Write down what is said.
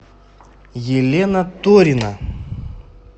елена торина